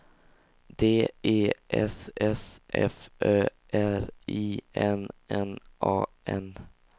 D E S S F Ö R I N N A N